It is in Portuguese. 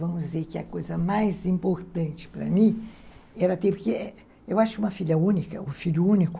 Vamos dizer que a coisa mais importante para mim era ter... Porque eu acho que uma filha única, um filho único...